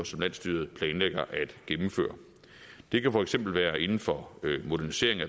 som landsstyret planlægger at gennemføre det kan for eksempel være inden for modernisering af